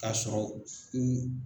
Ka sɔrɔ u